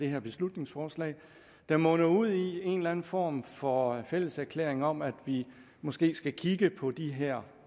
her beslutningsforslag der munder ud i en eller anden form for fælles erklæring om at vi måske skal kigge på de her